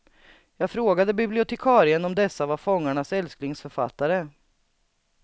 Jag frågade bibliotekarien om dessa var fångarnas älsklingsförfattare.